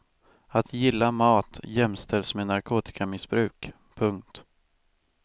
Att gilla mat jämställs med narkotikamissbruk. punkt